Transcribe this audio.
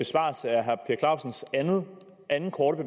jeg clausens anden korte